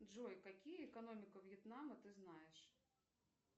джой какие экономика вьетнама ты знаешь